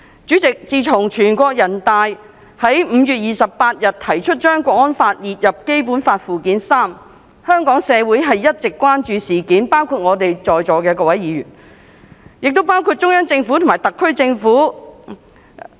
主席，自全國人民代表大會在5月28日提出把《港區國安法》加入列於《基本法》附件三，香港社會一直關注此事，包括在座各位議員，亦包括中央政府及特區政府。